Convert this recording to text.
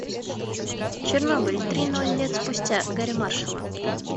чернобыль три ноль лет спустя гэрри маршалла